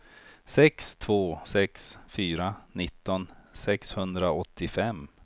sex två sex fyra nitton sexhundraåttiofem